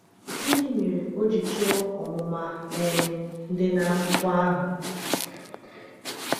Gịnị mere o ji chọọ ọmụma um dị n’akwụkwọ ahụ?